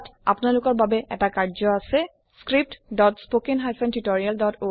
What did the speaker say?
ইয়াত কিছু অভ্যাশৰ কাৰনে প্ৰশ্ন দি থোৱা হৈছে আপোনলোকৰ কাৰনে